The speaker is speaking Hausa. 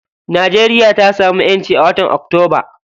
Najeriya ta samu ƴanci a watan octoba.